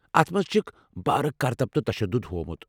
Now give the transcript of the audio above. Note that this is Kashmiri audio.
اتھ منز چھِكھ بھارٕ كرتب تہٕ تشدُد ہومُت ۔